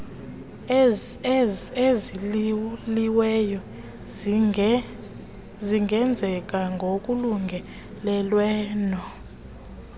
eziyiliweyo zingenzeka ngokolungelelwano